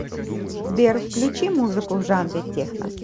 сбер включи музыку в жанре техно